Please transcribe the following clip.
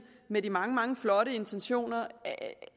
med de mange mange flotte intentioner